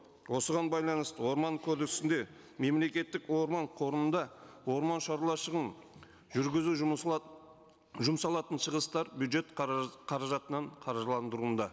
осыған байланысты орман кодексінде мемлекеттік орман қорында жүргізу жұмсалатын шығыстар бюджет қаражатынан қыржыландыруында